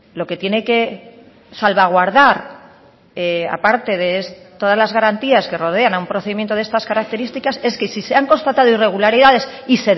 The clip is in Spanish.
lo que tiene que salvaguardar aparte de todas las garantías que rodean a un procedimiento de estas características es que si se han constatado irregularidades y